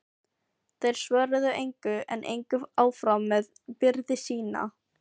Þeir svöruðu engu en gengu áfram með byrði sína.